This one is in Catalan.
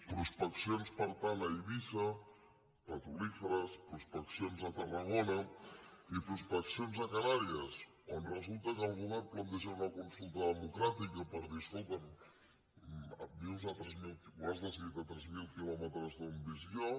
prospeccions per tant a eivissa petrolíferes pros·peccions a tarragona i prospeccions a canàries on resulta que el govern planteja una consulta democràti·ca per dir escolta’m ho has decidit a tres mil quilò·metres d’on visc jo